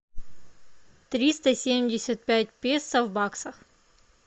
триста семьдесят пять песо в баксах